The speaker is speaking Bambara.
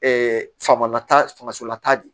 fanga lata fagasolata de